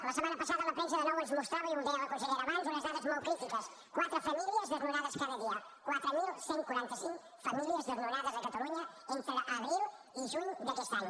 la setmana passada la premsa de nou ens mostrava i ho deia la consellera abans unes dades molt crítiques quatre famílies desnonades cada dia quatre mil cent i quaranta cinc famílies desnonades a catalunya entre abril i juny d’aquest any